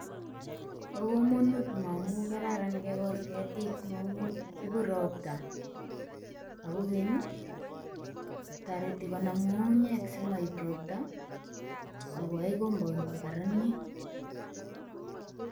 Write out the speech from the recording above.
Bo komonut momu kararan kegol ketik momu ibu robta ak kogeny, toreti konam ng'ung'unyek simaib robta ago ae compound kokararanit.